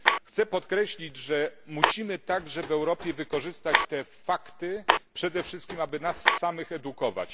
Chciałbym również podkreślić, że musimy także w Europie wykorzystać te fakty, przede wszystkim, aby nas samych edukować.